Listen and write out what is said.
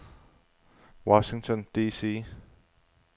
Washington D.C.